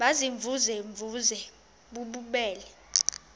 baziimvuze mvuze bububele